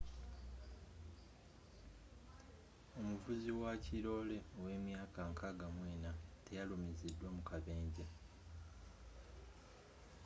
omuvuzi wakirole owemyaka 64 teyalumizidwa mukabenje